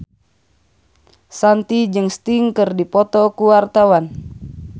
Shanti jeung Sting keur dipoto ku wartawan